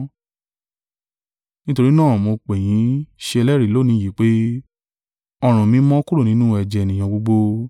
Nítorí náà mo pè yín ṣe ẹlẹ́rìí lónìí yìí pé, ọrùn mi mọ́ kúrò nínú ẹ̀jẹ̀ ènìyàn gbogbo.